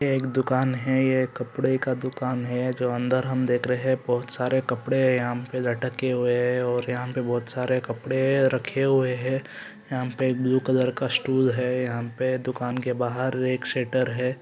यह एक दुकान है यह एक कपड़े का दुकान है जो अंदर हम देख रहे हैं बहुत सारे कपड़े यहाँ पे लटके हुए हैं और यहाँ पे बहुत सारे कपड़े रखे हुए हैं यहाँ पे एक ब्लू कलर का स्टूल है यहाँ पे दुकान के बाहर एक शटर हैं।